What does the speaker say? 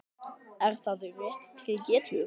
Er það rétt til getið?